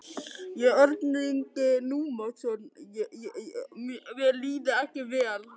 Ég hef ákveðið að sýna samstarf í máli mínu.